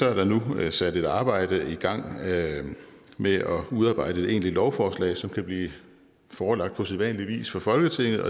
er der nu sat et arbejde i gang med at udarbejde et egentligt lovforslag som kan blive forelagt på sædvanlig vis for folketinget